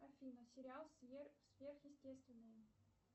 афина сериал сверхъестественное